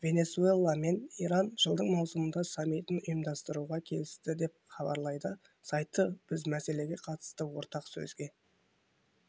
венесуэла мен иран жылдың маусымында саммитін ұйымдастыруға келісті деп хабарлайды сайты біз мәселеге қатысты ортақ сөзге